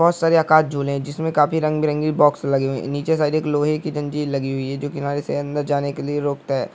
बहुत सारे आकाश झूले है जिसमे काफी रंग बिरंगी बॉक्स लगी हुई है नीचे साइड एक लोहे की जंजीर लगी हुई है जो किनारे से अंडर जाने के लिए रोकता है।